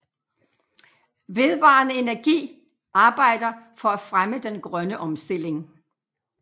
VedvarendeEnergi arbejder for at fremme den grønne omstilling